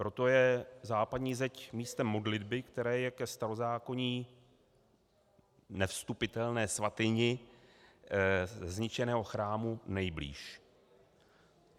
Proto je západní zeď místem modlitby, které je ke starozákonní nevstupitelné svatyni zničeného chrámu nejblíž.